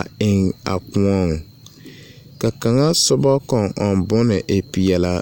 a eŋ a koɔeŋ. Ka kaŋa sobɔ kɔŋ-ɔŋ bone e peɛlaa.